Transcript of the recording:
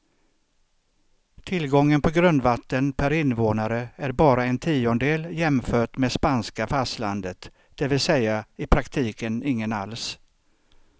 Tillgången på grundvatten per invånare är bara en tiondel jämfört med spanska fastlandet, det vill säga i praktiken ingen alls.